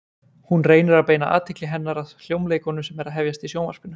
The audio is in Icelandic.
Hún reynir að beina athygli hennar að hljómleikum sem eru að hefjast í Sjónvarpinu.